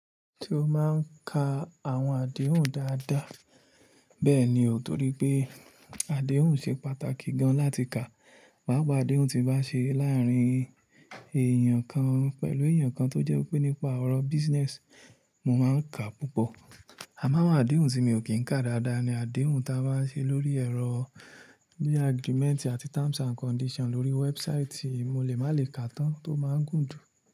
Tí ó máa ń ka àwọn àdéhùn dáadáa. Bẹ́ẹ̀ ni, o torí pé àdéhùn ṣe pàtàkì gan láti ka. Paapaa àdéhùn tí bá ṣe láàárín èèyàn kan pẹ̀lú èèyàn kan tó jẹ́ pé nípa ọ̀rọ̀ business, mo máa ń ka púpọ̀. Àmọ́ àwọn àdéhùn tí mi ò kí ń kà dáadáa ni àdéhùn ta bá ṣe lórí ẹ̀rọ bíi agreement àti terms and condition lórí website, mo lè má lè ká tán tó máa ń gùn jù.